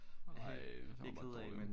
Ej det var bare dårligt